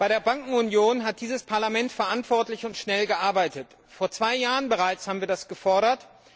Bei der Bankenunion hat dieses Parlament verantwortlich und schnell gearbeitet. Vor zwei Jahren bereits haben wir das gefordert.